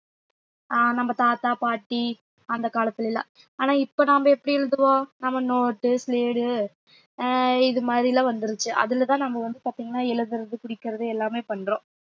ஆஹ் நம்ம தாத்தா பாட்டி அந்த காலத்துல எல்லாம் ஆனா இப்ப நாம எப்படி எழுதுவோம் நம்ம note உ ஆஹ் இது மாதிரி எல்லாம் வந்துருச்சு அதுலதான் நம்ம வந்து பாத்தீங்கன்னா எழுதுறது குறிக்கிறது எல்லாமே பண்றோம்